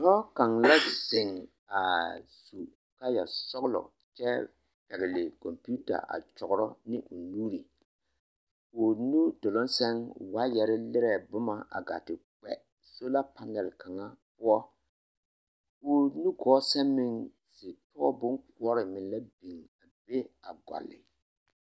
Dɔɔ kaŋ la zeŋ a su kaayɛsɔɡelɔ kyɛ pɛɡele kɔmpiita a kyɔɡerɔ ane o nuuri o nudoloŋ sɛŋ waayɛre lirɛɛ boma a ɡaa te kpɛ sola panɛl poɔ o nuɡɔɔ sɛŋ meŋ pɔɡebɔ boŋkoɔre la biŋ a be ɡɔle.